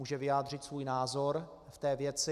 Může vyjádřit svůj názor k té věci.